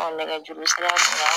nɛgɛjurusira